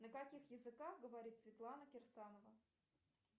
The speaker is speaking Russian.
на каких языках говорит светлана кирсанова